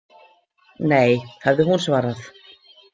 Nei, hafði hún svarað.